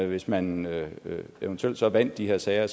hvis man eventuelt så vandt de her sager